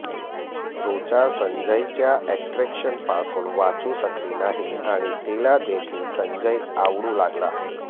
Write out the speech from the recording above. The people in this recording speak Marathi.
ऋचा संजयच्या अट्रॅक्शनपासून वाचू शकली नाही आणि तिलादेखील संजय आवडू लागला